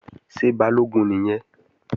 Ṣé Balógun nìyẹn?